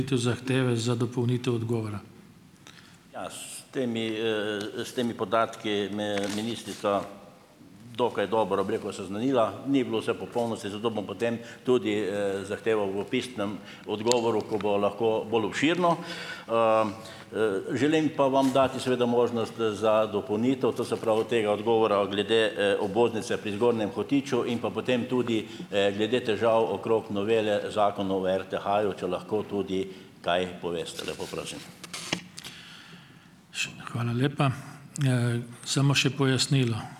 Ja, s temi s temi podatki me je ministrica dokaj dobro, bi rekel, seznanila. Ni bilo vse v popolnosti, zato bom potem tudi zahteval v pisnem odgovoru, ko bo lahko bolj obširno. Želim pa vam dati seveda možnost za dopolnitev to se pravi tega odgovora glede obvoznice pri Zgornjem Hotiču in pa potem tudi glede težav okrog novele Zakona o RTH-ju, če lahko tudi kaj poveste, lepo prosim.